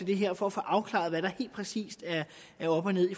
det her for at få afklaret hvad der præcist er op og ned i